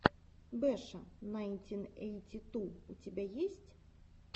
беша найнтин эйти ту у тебя есть